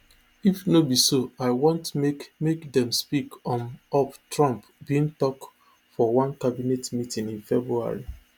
if no be so i want make make dem speak um up trump bin tok for one cabinet meeting in february